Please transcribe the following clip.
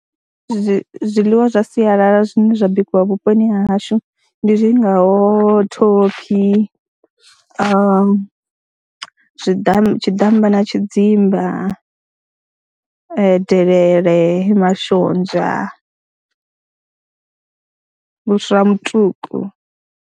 Zwi zwiḽiwa zwa sialala zwine zwa bikiwa vhuponi ha hashu ndi zwi ngaho thophi na zwiḓa tshiḓamba na tshidzimba, delele, mashonzha, vhuswa ha mutuku.